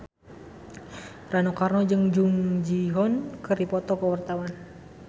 Rano Karno jeung Jung Ji Hoon keur dipoto ku wartawan